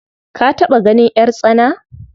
Ka taɓa ganin ƴartsana?